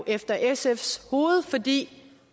efter sfs hoved fordi